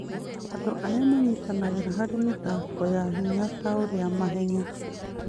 Andũ arĩa manyitanagĩra harĩ mĩthako ya hinya ta ũrĩa mahenya,